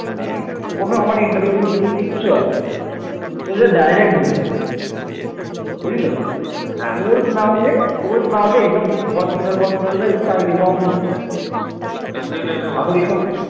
এ সময় উত্তর ভারত দখলের জন্য বিভিন্ন সাম্রাজ্যের মধ্যে তীব্র প্রতিদ্বন্দিতা শুরু হয়